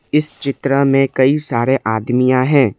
इस चित्र में कई सारे आदमियां है।